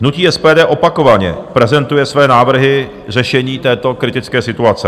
Hnutí SPD opakovaně prezentuje své návrhy řešení této kritické situace.